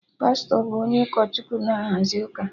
Pastọ bụ onye ụkọ Chukwu na-ahazi ụka